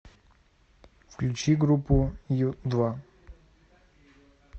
включи группу ю два